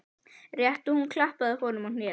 Rétt og hún klappaði honum á hnéð.